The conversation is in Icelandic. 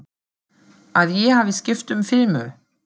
Að ég hafi skipt um filmu.